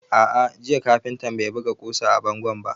A'a, jiya kafintan bai buga ƙusa a bango ba.